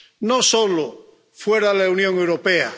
No solo fuera de la Unión Europea.